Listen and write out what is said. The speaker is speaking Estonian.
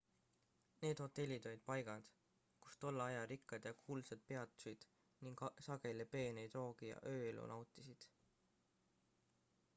need hotellid olid paigad kus tolle aja rikkad ja kuulsad peatusid ning sageli peeneid roogi ja ööelu nautisid